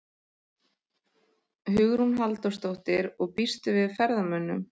Hugrún Halldórsdóttir: Og býstu við ferðamönnum?